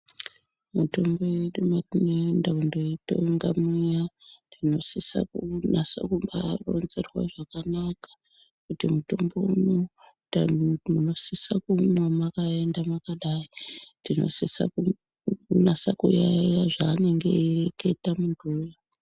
Mitombo yedu mwatinoenda kundoitenga mwuya, tinosisa kunyasa kubaa ronzerwa zvakanaka kuti mutombo uyu tanhutu munosisa kuumwa mwakaenda mwakadai. Tinosisa kunyasa kuyaiya zvaanenge eireketa munhuwo.